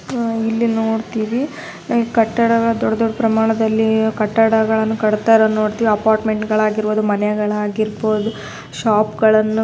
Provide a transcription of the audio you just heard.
ಆಹ್ಹ್ ಇಲ್ಲಿ ನೋಡ್ತಿವಿ ಕಟ್ಟಡಗಳು ದೊಡ್ಡ್ ದೊಡ್ಡ್ ಪ್ರಮಾಣದಲ್ಲಿ ಕಟ್ಟಡಗಳನ್ನು ಕಟ್ತಾ ಇರೋದನ್ನ ನೋಡ್ತಿವಿ ಅಪಾರ್ಟ್ಮೆಂಟ್ ಗಳಾಗಿರಬಹುದು ಮನೆಗಳಾಗಿರಬಹುದು ಶಾಪ್ಗಳನ್ನು --